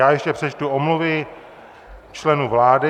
Já ještě přečtu omluvy členů vlády.